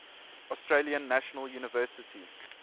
australian national university